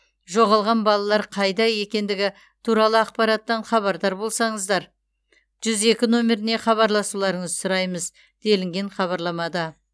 жоғалған балалар қайда екендігі туралы ақпараттан хабардар болсаңыздар жүз екі нөміріне хабарласуларыңызды сұраймыз делінген хабарламада